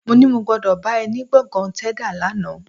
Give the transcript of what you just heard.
Mó ní mo gbọ́dọ̀ bá ẹ ní gbọ̀ngàn Tẹ́dà lánàá